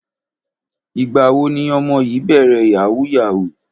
Ìgbà wo ni ọmọ yìí bẹ̀rẹ̀ yahoo yahoo?